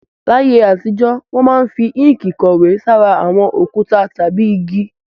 Láyé àtijọ́, wọ́n máa ń fi inki kọ̀wé sára àwọn òkúta tàbí igi